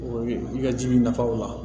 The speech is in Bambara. O ye i ka ji nafa o la